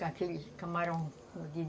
com aqueles camarões.